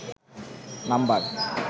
number